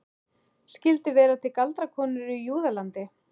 Skyldu vera til galdrakonur í Júðalandi?